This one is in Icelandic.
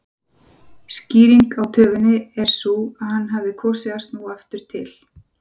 Skýringin á töfinni var sú að hann hafði kosið að snúa aftur til